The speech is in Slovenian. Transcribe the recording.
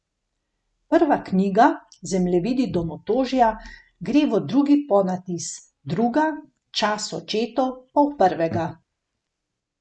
Prva knjiga, Zemljevidi domotožja, gre v drugi ponatis, druga, Čas očetov, pa v prvega.